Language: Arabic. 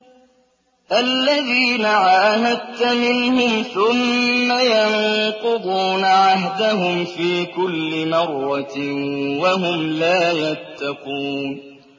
الَّذِينَ عَاهَدتَّ مِنْهُمْ ثُمَّ يَنقُضُونَ عَهْدَهُمْ فِي كُلِّ مَرَّةٍ وَهُمْ لَا يَتَّقُونَ